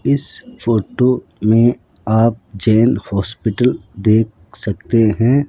इस फोटो में आप जैन हॉस्पिटल देख सकते हैं।